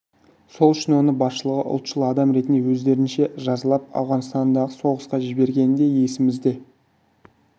сол үшін оны басшылығы ұлтшыл адам ретінде өздерінше жазалап ауғанстандағы соғысқа жібергені де есімізде